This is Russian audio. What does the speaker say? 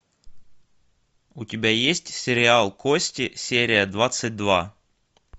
у тебя есть сериал кости серия двадцать два